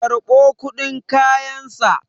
karɓo kudin kayansa!